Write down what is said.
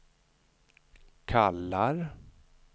kallar